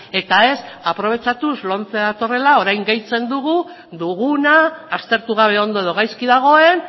eta ez aprobetxatuz lomce datorrela orain gehitzen dugu nahi duguna aztertu gabe ondo edo gaizki dagoen